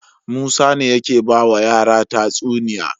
Musa ne yake bawa yara tatsuniya